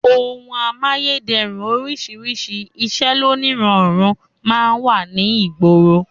Ohun amáyédẹrùn oríṣiríṣi, iṣẹ́ lóníranran máa ń wà ní ìgboro